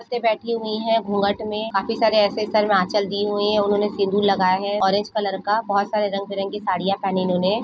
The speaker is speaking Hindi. बेठी हुयी है घूँघट में काफी सारी आंचल डी हुई है उन्होंने सिद्न्हुर लगाए हुआ है ओरेंज कलर का बहुत सारे रंग बिरंग की साड़ियां पहनी हुई है उन्होंने।